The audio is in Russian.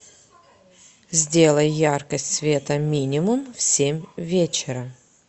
сделай яркость света минимум в семь вечера